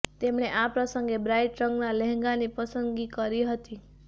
તેમણે આ પ્રસંગે બ્રાઇટ રંગના લહેંગાની પસંદગી કરી હતી